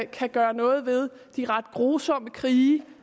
kan gøre noget ved de ret grusomme krige